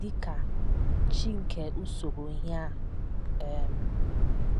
dị ka “ chi nke usoro ihe a um. ”